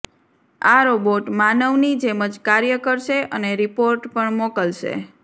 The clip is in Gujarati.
આ રોબોટ માનવની જેમ જ કાર્ય કરશે અને રીપોર્ટ પણ મોકલશે